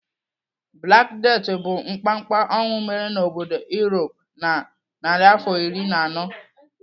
Black Death bụ mkpamkpa ọnwụ mere n'obodo Europe na narịafọ iri na anọ.